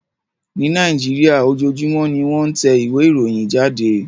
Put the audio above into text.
Ní Nàìjíríà, ojoojúmọ́ ni wọ́n ń tẹ ìwé ìròyìn jáde